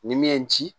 Ni min ye n ci